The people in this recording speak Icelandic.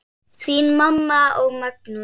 Þín mamma og Magnús.